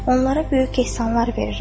Onlara böyük ehsanlar verirəm.